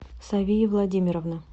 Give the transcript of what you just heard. савии владимировны